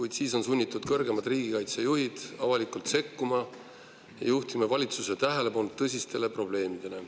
Ja siis on sunnitud kõrgemad riigikaitsejuhid avalikult sekkuma ja juhtima valitsuse tähelepanu tõsistele probleemidele.